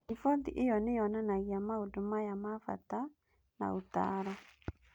Riboti ĩyo nĩ yonanagia maũndũ maya ma bata na ũtaaro: